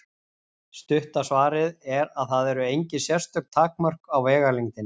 Stutta svarið er að það eru engin sérstök takmörk á vegalengdinni.